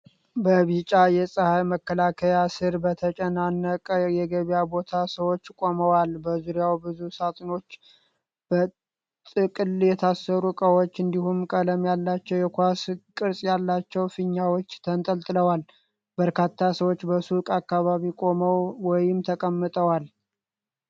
በቢጫ የፀሐይ መከላከያ ስር በተጨናነቀ የገበያ ቦታ ሰዎች ቆመዋል። በዙሪያው ብዙ ሣጥኖች፣ በጥቅል የታሰሩ እቃዎች፣ እንዲሁም ቀለም ያላቸው የኳስ ቅርጽ ያላቸው ፊኛዎች ተንጠልጥለዋል። በርካታ ሰዎች በሱቁ አካባቢ ቆመው ወይም ተቀምጠዋል።